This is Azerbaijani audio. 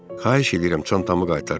Xahiş edirəm çantamı qaytar.